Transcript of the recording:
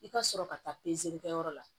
I ka sɔrɔ ka taa kɛ yɔrɔ la